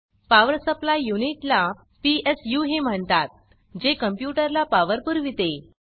power supply unit ला PSUही म्हणतात जे कंप्यूटर ला पावर पुरविते